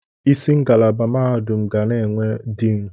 Isi ngalaba mahadum ga na-enwe diin.